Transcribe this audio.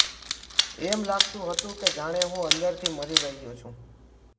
એમ લાગતું હતું કે જાણે હું અંદરથી મરી રહ્યો છું